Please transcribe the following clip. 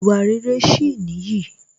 Ìwà rere sì nìyí